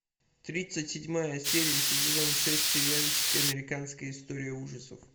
тридцать седьмая серия сезон шесть сериальчик американская история ужасов